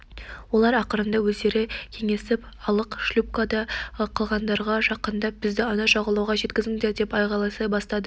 олар ақырында өзара кеңесіп алып шлюпкада қалғандарға жақындап бізді ана жағалауға жеткізіңдер деп айғайлай бастады